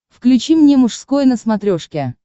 включи мне мужской на смотрешке